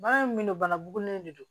Baara in min don bana bugunen de don